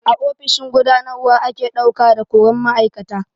A ofishin gudanarwa ake ɗauka da koran ma'aikata.